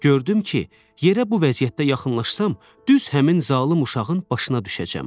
Gördüm ki, yerə bu vəziyyətdə yaxınlaşsam, düz həmin zalım uşağın başına düşəcəm.